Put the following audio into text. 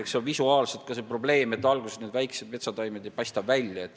Eks see probleem ole ka visuaalne, alguses need väiksed metsataimed ei paista välja.